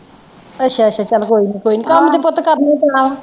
ਅੱਛਾ ਅੱਛਾ ਚੱਲ ਕੋਈ ਨਈਂ ਕੋਈ ਨਈਂ ਕੰਮ ਤੇ ਪੁੱਤ ਕਰਨਾ ਈ ਪੈਣਾ।